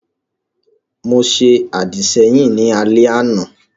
Mo ṣe àdìsẹ́yìn ní alẹ́ àná